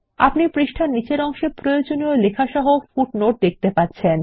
আপনি পৃষ্ঠার নীচের অংশে প্রয়োজনীয় লেখা সহ পাদটীকা টি দেখতে পাচ্ছেন